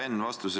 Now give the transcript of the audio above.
Hea Enn!